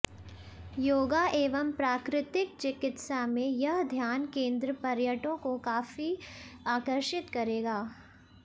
योगा एवं प्राकृतिक चिकित्सा में यह ध्यान केन्द्र पर्यटकों को काफी आकर्षित करेगा